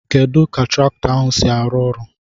Kedu ka traktọ ahu si arụ ọrụ?